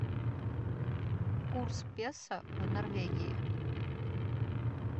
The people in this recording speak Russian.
курс песо в норвегии